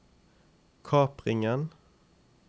kapringen